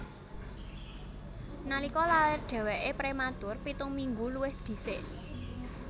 Nalika lair dhèwèké prématur pitung minggu luwih dhisik